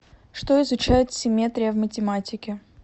что изучает симметрия в математике